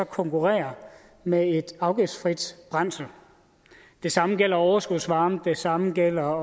konkurrere med et afgiftsfrit brændsel det samme gælder overskudsvarme det samme gælder